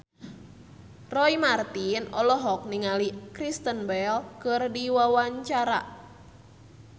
Roy Marten olohok ningali Kristen Bell keur diwawancara